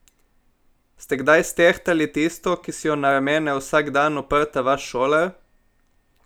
Ste kdaj stehtali tisto, ki si jo na ramena vsak dan oprta vaš šolar?